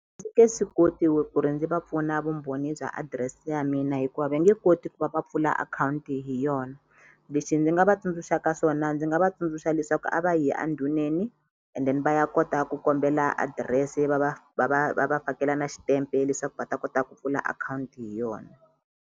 Nge swi koti ku ri ndzi va pfuna vumbhoni bya adirese ya mina hikuva va nge koti ku va va pfula akhawunti hi yona lexi ndzi nga va tsundzuxaka swona ndzi nga va tsundzuxa leswaku a va yi a ndhuneni and then va ya kota ku kombela adirese va va va va va va fakela na xitempe leswaku va ta kota ku pfula akhawunti hi yona.